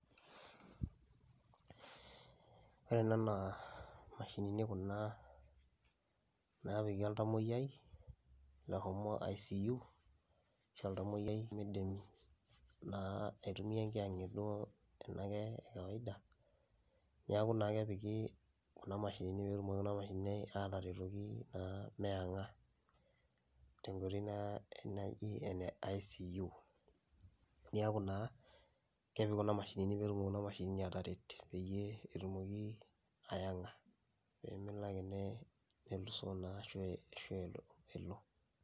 Ore ena naa mashinini kuna napiki oltamoyiai oshomo icu ashu oltamoyiai limidim aitumia enkianget ena ekawaida, neaku naa kepiki kuna mashinini petumoki ateretoki meenga, tenkoitoi naji ene icu. Neaku naa kepiki kuna mashinini petumoki ataret petumoki naa aenga.